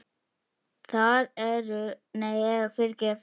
Þar er skortur á fólki.